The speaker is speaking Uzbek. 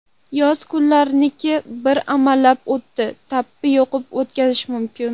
Yoz kunlariniku bir amallab, o‘tin, tappi yoqib o‘tkazish mumkin.